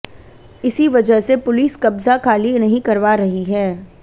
इसी वजह से पुलिस कब्जा खाली नहीं करवा रही है